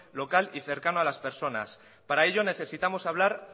local y cercano a las personas para ello necesitamos hablar